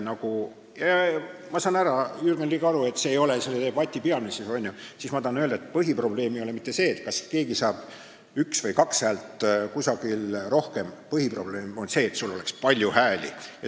Ma saan, Jürgen Ligi, aru, et see ei ole selles debatis peamine, aga ma tahan öelda, et põhiprobleem ei ole mitte see, kas keegi saab kusagil ühe hääle või kaks häält rohkem, põhiprobleem on see, et sul oleks palju hääli.